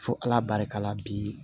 Fo ala barika la bi